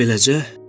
Bax belə.